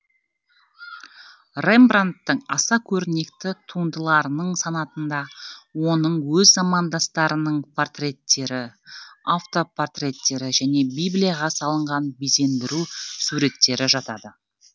рембрандттың аса көрнекті туындыларының санатында оның өз замандастарының портреттері автопортреттері және библияға салынған безендіру суреттері жатады